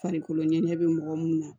Farikolo ɲɛgɛ bɛ mɔgɔ mun na